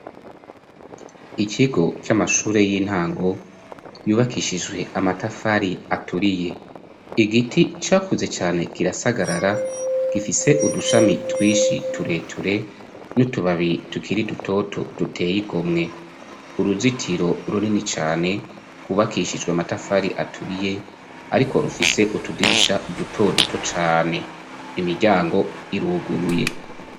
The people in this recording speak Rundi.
ikigo cy'amashure y'intango yubakishijwe amatafari aturiye igiti cyakuze cyane kirasagarara gifise udushami twishi tureture n'utubabi tukiri dutoto duteyigomwe uruzitiro runini cyane kubakishijwe amatafari aturiye ariko rufise utudirisha duto duto cane imiryango iruguruye.